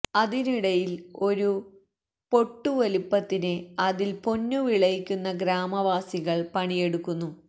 അതിനിടയില് ഒരു പൊട്ടു വലിപ്പത്തിന് അതില് പൊന്നു വിളയിക്കുന്ന ഗ്രാമവാസികള് പണിയെടുക്കുന്നു